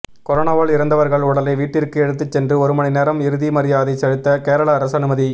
கொரோனாவால் இறந்தவர்கள் உடலை வீட்டிற்கு எடுத்து சென்று ஒரு மணி நேரம் இறுதி மரியாதை செலுத்த கேரள அரசு அனுமதி